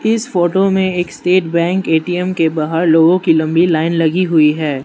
इस फोटो में एक स्टेट बैंक ए_टी_एम के बाहर लोगों की लंबी लाइन लगी हुई है।